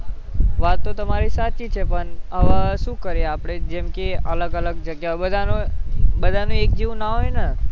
વાત તો તમારી સાચી છે પણ હવે શું કરીએ આપણે જેમકે અલગ અલગ જગ્યાઓ બધાનો બધાને એક જેવું ના હોય ને